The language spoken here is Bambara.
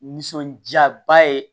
Nisɔndiyaba ye